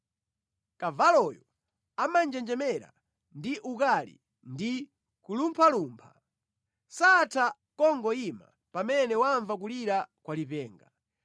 Kavaloyo amanjenjemera ndi ukali ndi kulumphalumpha; satha kungoyima pamene wamva kulira kwa lipenga.